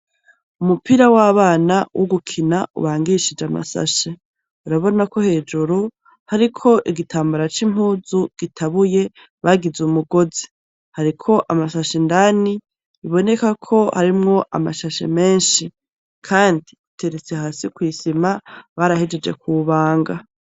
Umupira w'abana wo ugukina ubangishije amasashe urabona ko hejuru hari ko igitambara c'impuzu gitabuye bagize umugozi hariko amasasha indani biboneka ko harimwo amashashe menshi, kandi uteretse hasi kw'isima barahejeje kubanga.